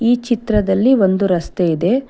ಈ ಚಿತ್ರದಲ್ಲಿ ಒಂದು ರಸ್ತೆ ಇದೆ.